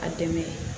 A dɛmɛ